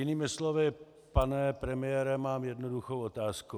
Jinými slovy, pane premiére, mám jednoduchou otázku.